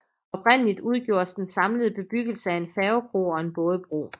Oprindeligt udgjordes den samlede bebyggelse af en færgekro og en bådebro